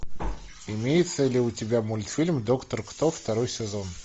имеется ли у тебя мультфильм доктор кто второй сезон